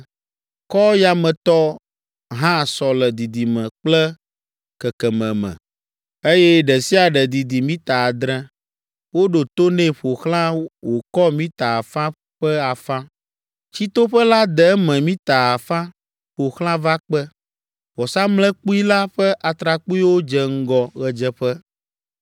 Kɔ yametɔ hã sɔ le didime kple kekeme me, eye ɖe sia ɖe didi mita adre, woɖo to nɛ ƒo xlã wòkɔ mita afã ƒe afã. Tsitoƒe la de eme mita afã ƒo xlã va kpe. Vɔsamlekpui la ƒe atrakpuiwo dze ŋgɔ ɣedzeƒe.”